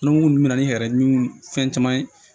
Ni munnu bɛ na ni yɛrɛ ɲimi fɛn caman ye